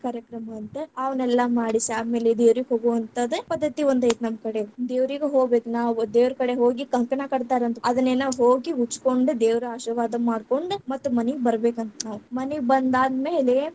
ಕಾರ್ಯಕ್ರಮಾ ಅಂತೆ, ಅವನ್ನೆಲ್ಲಾ ಮಾಡಿಸಿ ಆದಮೇಲೆ ದೇವ್ರೀಗೆ ಹೋಗುವಂತಾದ್‌ ಪದ್ಧತಿ ಒಂದ್‌ ಐತ್‌ ನಮ್ಮಕಡೆ. ದೇವ್ರೀಗ್‌ ಹೋಗ್ಬೇಕ್ ನಾವ್‌ ದೇವ್ರಕಡೆ ಹೋಗಿ ಕಂಕಣ ಕಟ್ಟತಾರಂತ್‌ ಅದೇನ್ನೆನ ಹೋಗಿ ಉಚ್ಚಕೊಂಡ್ ದೇವ್ರ ಆಶಿರ್ವಾದ ಮಾಡ್ಕೊಂಡ್‌ ಮತ್ತ್‌ ಮನೀಗ್ ಬರಬೇಕಂತ ನಾವು. ಮನೀಗ್ ಬಂದಾದ್ಮೇಲೆ.